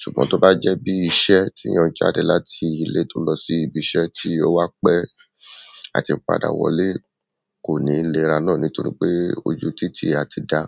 ṣùgbọ́n tó bá jẹ́ bí iṣẹ́ tí èeyàn jáde láti ilé tó lọ sí ibi iṣẹ́ tí ó wá pẹ́ àti padà wọlé kò ní léra náà nítorí pé ojú títì a ti dà.